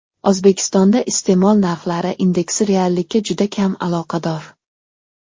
O‘zbekistonda iste’mol narxlari indeksi reallikka juda kam aloqador.